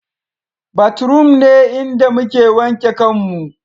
Bathroom ne inda muke wanke kanmu